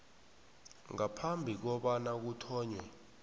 ngaphambi kobana kuthonywe